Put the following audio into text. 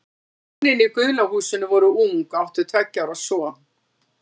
Hjónin í gula húsinu voru ung og áttu tveggja ára son.